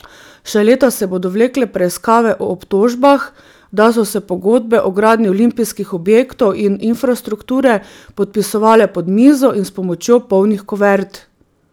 Še leta se bodo vlekle preiskave o obtožbah, da so se pogodbe o gradnji olimpijskih objektov in infrastrukture podpisovale pod mizo in s pomočjo polnih kuvert.